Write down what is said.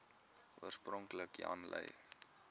oorspronklik jan lui